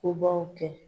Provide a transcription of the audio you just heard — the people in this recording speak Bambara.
Kobaw kɛ